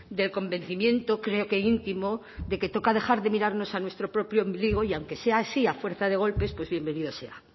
del convencimiento creo que íntimo de que toca dejar de mirarnos a nuestro propio ombligo y aunque sea así a fuerza de golpes pues bienvenido sea